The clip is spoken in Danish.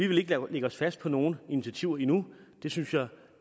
vil ikke lægge os fast på nogle initiativer endnu det synes jeg